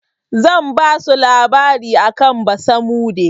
Zan basu labari akan basamude.